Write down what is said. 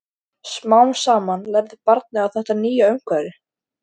Smám saman lærði barnið á þetta nýja umhverfi.